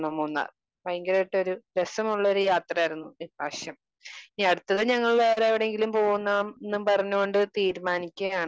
Speaker 2 Munnar. ഭയങ്കരായിട്ടൊരു രസമുള്ളൊരു യാത്രയായിരുന്നു ഈ പ്രാവശ്യം. ഇനി അടുത്തത് ഞങ്ങൾ വേറെ എവിടെങ്കിലും പോകുന്ന എന്നും പറഞ്ഞു കൊണ്ട് തീരുമാനിക്കുകയാണ്.